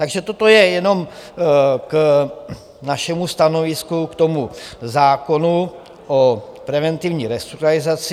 Takže toto je jenom k našemu stanovisku k tomu zákonu o preventivní restrukturalizaci.